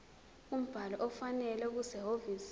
umbhalo ofanele okusehhovisi